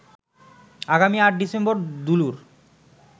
আগামী ৮ ডিসেম্বর দুলুর